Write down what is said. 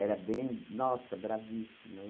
bem, nossa, bravíssima.